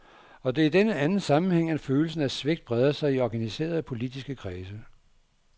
Og det er i denne anden sammenhæng, at følelsen af svigt breder sig i organiserede politiske kredse.